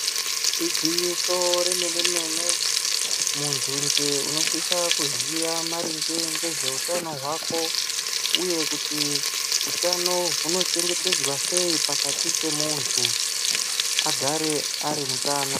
Igwinyiso re mene mene muntu njee unosisa kuziya maringe ngezve utano hwako uye kuti utano huno chengetedzwa sei pakati pe muntu ogare ari mutano.